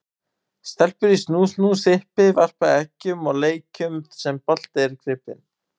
Stelpur í snú-snú, sippi, verpa eggjum og leikjum þar sem bolti er gripinn.